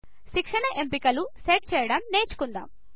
శిక్షణ ఎంపికలను సెట్ చేయడం నేర్చుకుందాం